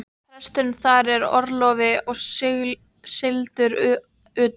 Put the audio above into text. Presturinn þar er í orlofi og sigldur utan.